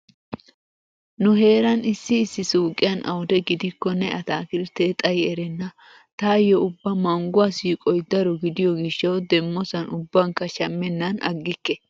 Nu heeran issi issi suuqiyan awude gidikkonne ataakilttee xayi erenna. Taayyo ubba mangguwa siiqoy daro gidiyo gishshawu demmosan ubbankka shammennan aggikke.